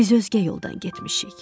Biz özgə yoldan getmişik.